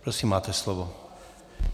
Prosím, máte slovo.